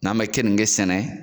N'an be keninke sɛnɛ